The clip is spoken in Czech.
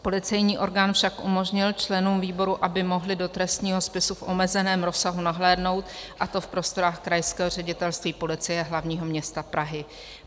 Policejní orgán však umožnil členům výboru, aby mohli do trestního spisu v omezeném rozsahu nahlédnout, a to v prostorách Krajského ředitelství Policie hlavního města Prahy.